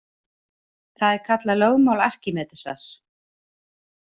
Það er kallað lögmál Arkímedesar.